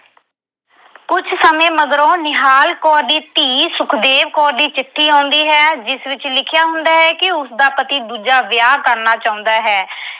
ਕੁਝ ਸਮੇਂ ਮਗਰੋਂ ਨਿਹਾਲ ਕੌਰ ਦੀ ਧੀ ਸੁਖਦੇਵ ਕੌਰ ਦੀ ਚਿੱਠੀ ਆਉਂਦੀ ਹੈ ਜਿਸ ਵਿੱਚ ਲਿਖਿਆ ਹੁੰਦਾ ਕਿ ਉਸਦਾ ਪਤੀ ਦੂਜਾ ਵਿਆਹ ਕਰਨਾ ਚਾਹੁੰਦਾ ਹੈ।